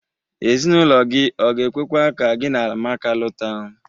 Ezinaụlọ gi ọ ga-ekwekwa ka gi na Amaka lụta?